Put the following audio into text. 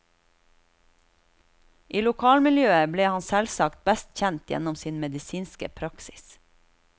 I lokalmiljøet ble han selvsagt best kjent gjennom sin medisinske praksis.